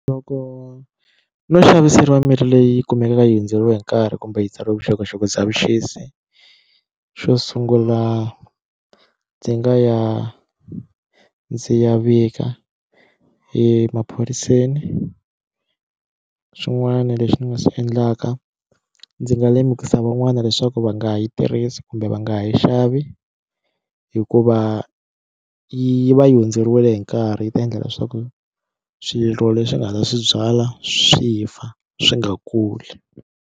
Loko no xaviseriwa mirhi leyi kumekaka yi hundzeriwe hi nkarhi kumbe yi tsariwe vuxokoxoko bya vuxisi xo sungula ndzi nga ya ndzi ya vika emaphoriseni swin'wana leswi ni nga swi endlaka ndzi nga lemukisa van'wani leswaku va nga yi tirhisi kumbe va nga ha yi xavi hikuva yi va yi hundzeriwile hi nkarhi yi ta endla leswaku swirho leswi nga ta swi byala swi fa swi nga kuli.